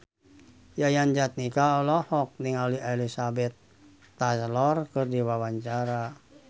Yayan Jatnika olohok ningali Elizabeth Taylor keur diwawancara